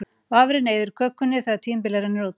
vafrinn eyðir kökunni þegar tímabilið rennur út